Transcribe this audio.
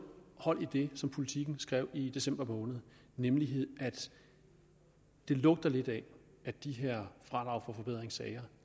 hold i det som politiken skrev i december måned nemlig at det lugter lidt af at de her fradrag for forbedringssager